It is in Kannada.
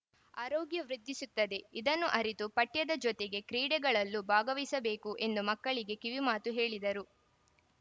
ಆರೋಗ್ಯ ವೃದ್ಧಿಸುತ್ತದೆ ಇದನ್ನು ಅರಿತು ಪಠ್ಯದ ಜೊತೆಗೆ ಕ್ರೀಡೆಗಳಲ್ಲೂ ಭಾಗವಹಿಸಬೇಕು ಎಂದು ಮಕ್ಕಳಿಗೆ ಕಿವಿಮಾತು ಹೇಳಿದರು